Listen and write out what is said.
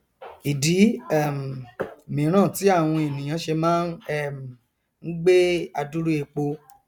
ìdí um míràn tí àwọn èèyàn ṣe máa um ngbé adúrú epo